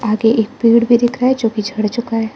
आगे एक पेड़ भी दिख रहा है जो कि झड़ चुका है।